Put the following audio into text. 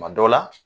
Kuma dɔ la